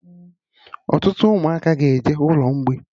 Ọtụtụ Ụmụaka ka ga-eje ụlọ mgbei